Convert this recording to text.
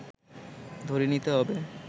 ধরে নিতে হবে